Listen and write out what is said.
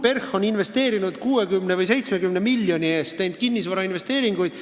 PERH on teinud 60 või 70 miljoni eest kinnisvarainvesteeringuid.